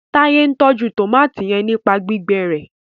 Taye n tọjú tomati yén nípa gbígbé rẹ